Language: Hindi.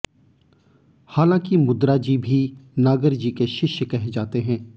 हालां कि मुद्रा जी भी नागर जी के शिष्य कहे जाते हैं